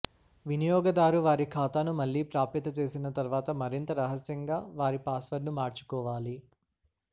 వినియోగదారు వారి ఖాతాను మళ్ళీ ప్రాప్యత చేసిన తర్వాత మరింత రహస్యంగా వారి పాస్వర్డ్ను మార్చుకోవాలి